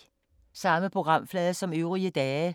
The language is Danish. Samme programflade som øvrige dage